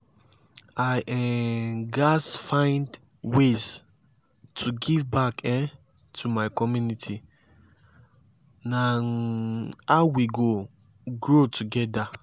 i um gats find ways to give back um to my community; na um how we go grow together.